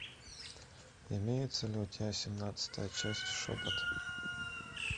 имеется ли у тебя семнадцатая часть шепот